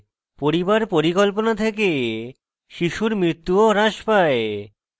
পরিবার পরিকল্পনা থেকে শিশুর মৃত্যু ও হ্রাস পায়